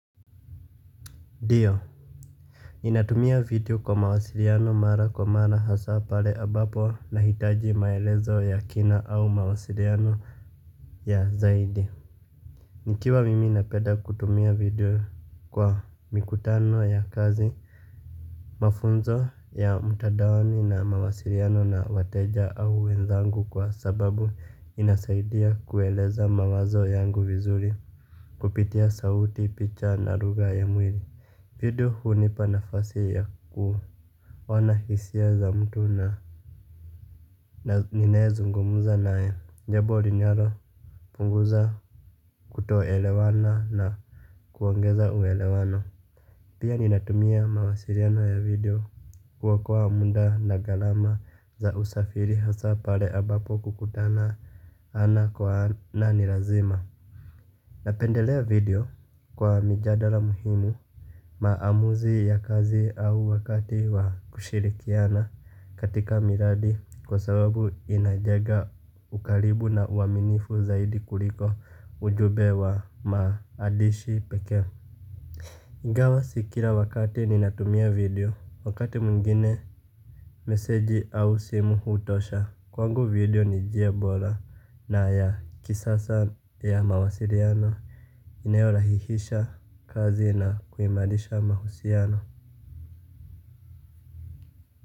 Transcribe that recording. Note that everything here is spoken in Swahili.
Dio, ninatumia video kwa mawasiliano mara kwa mara hasaa pale ambapo nahitaji maelezo ya kina au mawasiliano ya zaidi. Nikiwa mimi napenda kutumia video kwa mikutano ya kazi. Mafunzo ya mtandaoni na mawasiliano na wateja au wenzangu kwa sababu inasaidia kueleza mawazo yangu vizuri kupitia sauti picha na lugha ya mwili. Video hunipa nafasi ya kuona hisia za mtu na ninayezungumza naye jambo linalopunguza kutoelewana na kuongeza uelewano. Pia ninatumia mawasiliano ya video. Kuokoa muda na gharama za usafiri hasa pale ambapo kukutana ana kwa ana ni lazima. Napendelea video kwa mijadala muhimu. Maamuzi ya kazi au wakati wa kushirikiana katika miradi kwa sababu inajenga ukaribu na uaminifu zaidi kuliko ujumbe wa maadishi pekee. Ingawa si kila wakati ninatumia video, wakati mwingine meseji au simu hutosha. Kwangu video ni njia bora na ya kisasa ya mawasiliano inayolahihisha kazi na kuimarisha mahusiano.